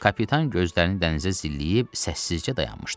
Kapitan gözlərini dənizə zilləyib səssizcə dayanmışdı.